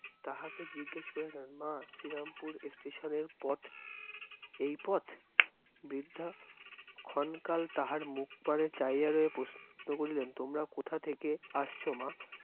তাঁহাকে জিজ্ঞেস করিলেন মা, শ্রীরামপুর Station এর পথ, এই পথ? বৃদ্ধা ক্ষণকাল তাঁহার মুখপানে চাহিয়া রইয়া প্রশ্ন করিলেন, তোমরা কোথা থেকে আসছ মা?